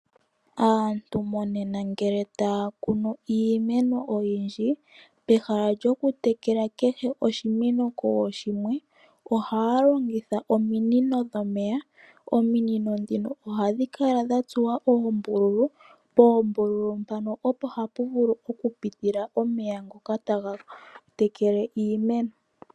Aantu monena ngele taya kunu iimeno oyindji, pehala lyokutekela kehe oshimeno kooshimwe ohaya longitha ominino dhomeya. Ominino ndhino ohadhi kala dha tsuwa oombululu. Poombululu mpano opo tapu vulu okupitila omeya ngono taga tekele iimeno.